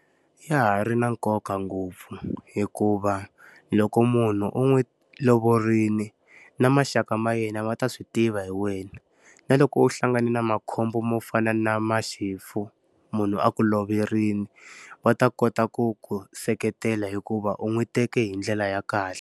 Ya ha ri na nkoka ngopfu hikuva, loko munhu u n'wi lovorile na maxaka ma yena ma ta swi tiva hi wena. Na loko u hlangana na makhombo mo fana na maxifu, ku munhu a ku loverile, va ta kota ku ku seketela hikuva u n'wi teke hi ndlela ya kahle.